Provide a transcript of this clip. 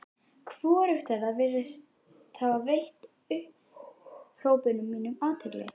Hvorugt þeirra virðist hafa veitt upphrópunum mínum athygli.